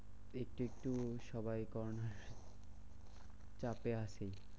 একটু একটু সবাই corona র চাপে আছে।